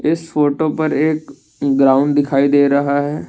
इस फोटो पर एक ग्राउंड दिखाई दे रहा है।